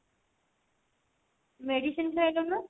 medicine ଖାଇନ ନା?